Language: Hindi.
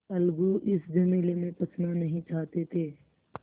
अलगू इस झमेले में फँसना नहीं चाहते थे